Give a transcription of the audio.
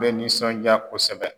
bɛ nisɔnjaa kosɛbɛ.